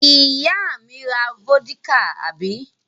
Ìyá mi ra vódíkà, àbí?